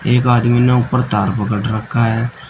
एक आदमी ने ऊपर तार पकड़ रखा है।